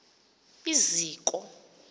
iziko